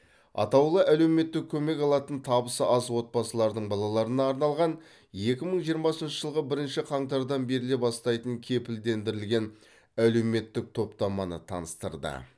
атаулы әлеуметтік көмек алатын табысы аз отбасылардың балаларына арналған екі мың жиырмасыншы жылғы бірінші қаңтардан беріле бастайтын кепілдендірілген әлеуметтік топтаманы таныстырды